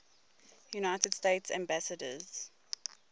united states ambassadors